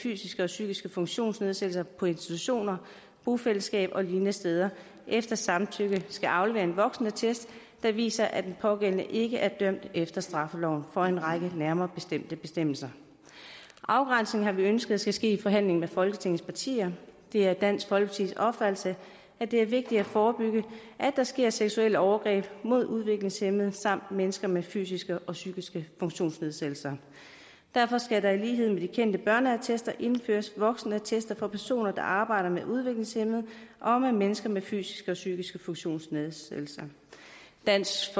fysiske og psykiske funktionsnedsættelser på institutioner bofællesskaber og lignende steder efter samtykke skal aflevere en voksenattest der viser at den pågældende ikke er dømt efter straffeloven for en række nærmere bestemte bestemmelser afgrænsningen har vi ønsket skal ske i forhandling med folketingets partier det er dansk folkepartis opfattelse at det er vigtigt at forebygge at der sker seksuelle overgreb mod udviklingshæmmede samt mennesker med fysiske og psykiske funktionsnedsættelser derfor skal der i lighed med de kendte børneattester indføres voksenattester for personer der arbejder med udviklingshæmmede og med mennesker med fysiske og psykiske funktionsnedsættelser dansk